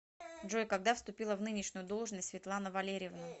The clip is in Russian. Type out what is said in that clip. джой когда вступила в нынешнюю должность светлана валерьевна